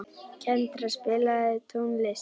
Kendra, spilaðu tónlist.